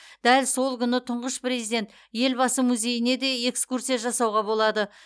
дәл сол күні тұңғыш президент елбасы музейіне де экскурсия жасауға болады